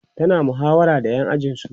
tana muhawara da ƴan ajinsu